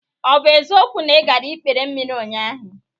Ọ bụ eziokwu na ị gara n'ikpere mmiri ụnyaahụ?